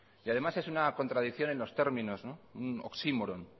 y además es una contradicción en los términos un oxímoron